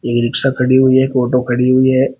ई rickshaw खड़ी हुई है एक ऑटो खड़ी हुई है।